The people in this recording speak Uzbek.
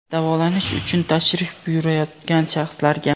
davolanish uchun tashrif buyurayotgan shaxslarga;.